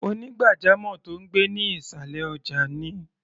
Onígbàjamọ̀ tó ń gbé ní ìṣàlẹ̀ ọjà ni.